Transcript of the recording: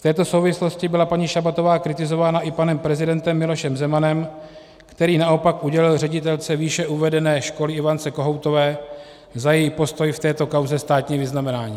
V této souvislosti byla paní Šabatová kritizována i panem prezidentem Milošem Zemanem, který naopak udělil ředitelce výše uvedené školy Ivance Kohoutové za její postoj v této kauze státní vyznamenání.